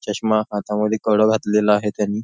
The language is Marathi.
चष्मा हातामध्ये कड घातलेला आहे त्यांनी.